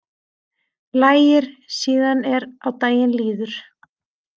Lægir síðan er á daginn líður